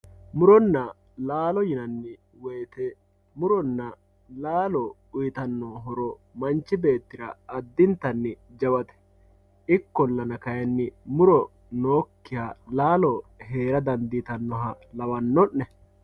Mu'ronna laalo yinanni wooyite mu'ronna laalo uuyitanno horo manchi beettira addintanni jawate ikkollana kaayinni mu'ro nooyikkiha laalo hee'ra dandiitannoha lawanno'ne